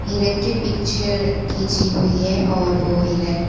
हिरन की पिक्चर खींची हुई है और वह हिरन--